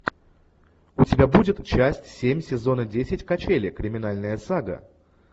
у тебя будет часть семь сезона десять качели криминальная сага